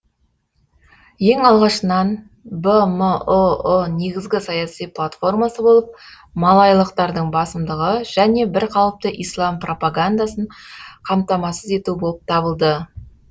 ең алғашынан бмұұ негізгі саяси платформасы болып малайлықтардың басымдығы және бір қалыпты ислам пропагандасын қамтамасыз ету болып табылды